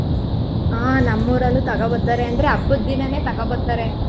ಹಾ ನಮ್ಮ್ಊರಲ್ಲೂ ತಗೋಬರ್ತಾರೆ ಅಂದ್ರೆ ಹಬ್ಬದಿನಾನೇ ತಗೋಬರ್ತಾರೆ.